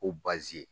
Ko baazi